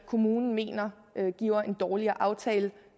kommunen mener giver en dårlig aftale